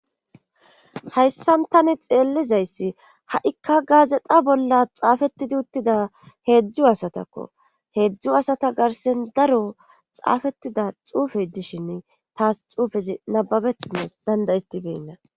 Hayssan tani xeellizayssi ha7ikka gaazeta bolla xaafettidi uttida heedzdzu asatakko heedzdzu asata garsen daro xaafettida xuufe dishin taas xuufezi nababetinnes dandayettibeynna.